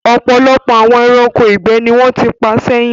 Ọ̀pọ̀lọpọ̀ àwọn ẹranko ìgbẹ́ ni wọ́n ti pa sẹ́yìn.